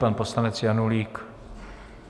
Pan poslanec Janulík.